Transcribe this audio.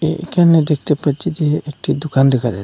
এইখানে দেখতে পাচ্ছি যে একটি দোকান দেখা যায়।